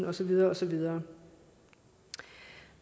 og så videre og så videre